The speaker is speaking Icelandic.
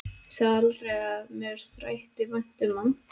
Ég sagði aldrei að mér þætti vænt um hann.